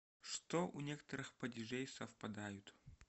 что у некоторых падежей совпадают